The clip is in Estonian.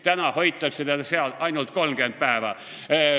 Täna hoitakse teda seal ainult 30 päeva.